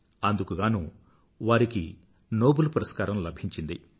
అందుకు గానూ వారికి నోబుల్ పురస్కారం లభించింది